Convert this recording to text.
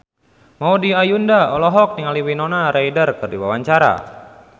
Maudy Ayunda olohok ningali Winona Ryder keur diwawancara